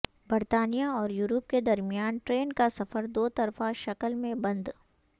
برطانیہ اور یورپ کے درمیان ٹرین کا سفر دو طرفہ شکل میں بند